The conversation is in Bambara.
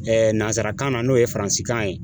Ɛɛ nanzararakan na n'o ye faransikan ye